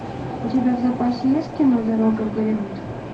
у тебя в запасе есть кино дорога в голливуд